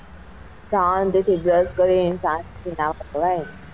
સાંજ થી,